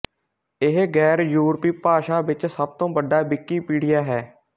ਇਹ ਗੈਰਯੂਰਪੀ ਭਾਸ਼ਾ ਵਿੱਚ ਸਭ ਤੋਂ ਵੱਡਾ ਵਿਕੀਪੀਡੀਆ ਹੈ